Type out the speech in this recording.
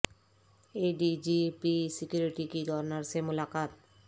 اے D G P security کی governor سے ملاقات